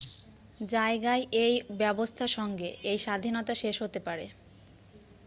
জায়গায় এই ব্যবস্থা সঙ্গে এই স্বাধীনতা শেষ হতে পারে